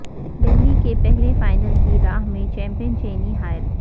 دہلی کے پہلے فائنل کی راہ میں چمپئن چنئی حائل